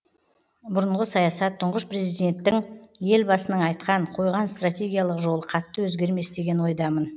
бұрынғы саясат тұңғыш президенттің елбасының айтқан қойған стратегиялық жолы қатты өзгермес деген ойдамын